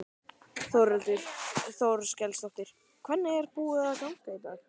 Þórhildur Þorkelsdóttir: Hvernig er búið að ganga í dag?